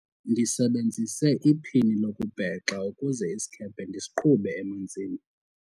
ndisebenzise iphini lokubhexa ukuze isikhephe ndisiqhube emanzini